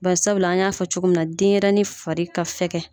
Bari sabula an y'a fɔ cogo min na denyɛrɛni fari ka fɛgɛn.